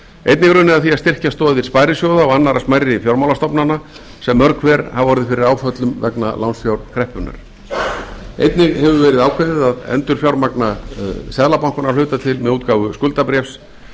einnig er unnið að því að styrkja stoðir sparisjóða og annarra smærri fjármálastofnana sem lög hver hafa orðið fyrir áföllum vegna lánsfjárkreppunnar einnig hefur verið ákveðið að endurfjármagna seðlabankann að hluta til með útgáfu skuldabréfs